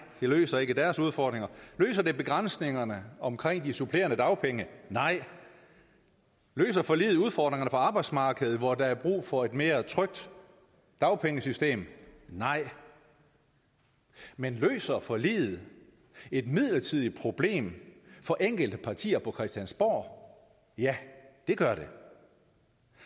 det løser ikke deres udfordringer løser det begrænsningerne omkring de supplerende dagpenge nej løser forliget udfordringerne på arbejdsmarkedet hvor der er brug for et mere trygt dagpengesystem nej men løser forliget et midlertidigt problem for enkelte partier på christiansborg ja det gør det